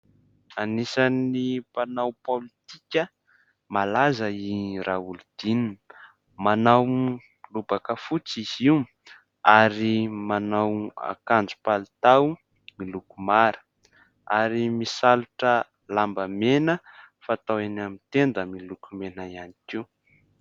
Anisan'ny mpanao politika malaza i Raolodinina, manao lobaka fotsy izy io ary manao akanjo palitao miloko mara ary misalotra lambamena fatao eny amin'ny tenda miloko mena ihany koa.